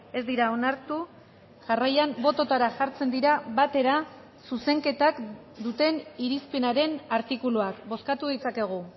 ez dira onartu jarraian bototara jartzen dira batera zuzenketak duten irizpenaren artikuluak bozkatu ditzakegu